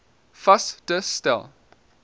vas te stel